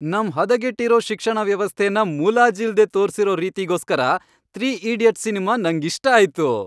ನಮ್ ಹದಗೆಟ್ಟಿರೋ ಶಿಕ್ಷಣ ವ್ಯವಸ್ಥೆನ ಮುಲಾಜಿಲ್ದೇ ತೋರ್ಸಿರೋ ರೀತಿಗೋಸ್ಕರ, ತ್ರೀ ಈಡಿಯಟ್ಸ್, ಸಿನ್ಮಾ ನಂಗಿಷ್ಟ ಆಯ್ತು.